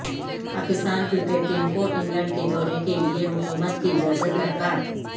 Pakistan cricket team کو England کے دورے کے لیے حکومت کی اجازت درکار